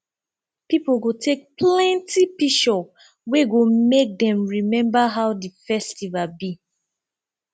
pipo go take plenti picshur wey go mek dem remmba how di festival bi